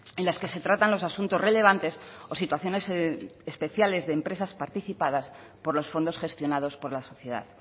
en las que se tratan los asuntos relevantes o situaciones especiales de empresas participadas por los fondos gestionados por la sociedad